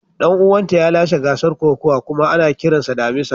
Dan uwanta ya lashe gasar kokawa kuma ana kiransa damisa.